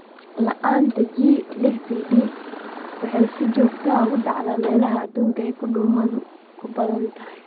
La'aanta G lix PD waxay si joogto ah uga dhacdaa meelaha adduunka ay duumadu ku badan tahay.